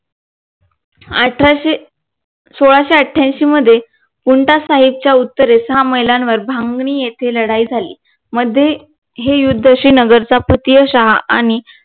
अठराशे सोळाशे आठ्यांशी मध्ये कुंठा साहेबच्या उत्तरेवर सहा महिलांवर भागणी येथे लढाई झाली मध्ये हे युद्धाशी नगरचा पती आणि